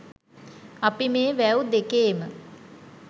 අපි මේ වැව් දෙකේම